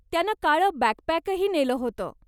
त्यानं काळं बॅकपॅकही नेलं होतं.